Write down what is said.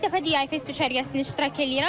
İlk dəfə Yay Fest düşərgəsində iştirak edirəm.